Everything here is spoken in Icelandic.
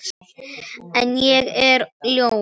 En ég er ljón.